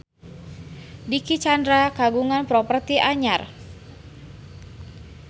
Dicky Chandra kagungan properti anyar